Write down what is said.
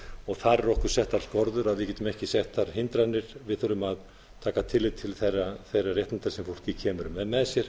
þar eru okkur settar skorður við getum ekki sett þar hindranir við þurfum að taka tillit til þeirra réttinda sem fólk kemur með með sér